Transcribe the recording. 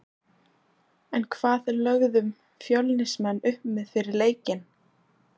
En hvað lögðum Fjölnismenn upp með fyrir leikinn?